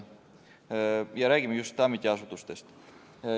Me räägime just ametiasutustest.